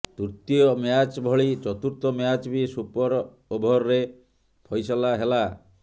ତୃତୀୟ ମ୍ୟାଚ୍ ଭଳି ଚତୁର୍ଥ ମ୍ୟାଚ୍ ବି ସୁପର ଓଭର୍ରେ ଫଇସଲା ହେଲା